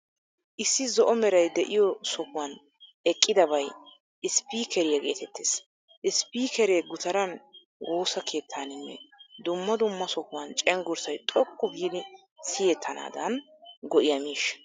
Issi zo'o meray de'iyoo sohuwan eqqidabay isppikkeriyaa geetettees. Isppikkeree gutaran, woosaa keettaaninne dumma dumma sohuwan cenggurssay xoqqu giidi siyettanaadan go'iyaa miishsha.